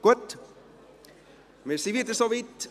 Wir sind wieder soweit.